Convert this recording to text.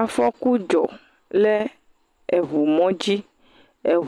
Afɔku dzɔ le ŋumɔ dzi.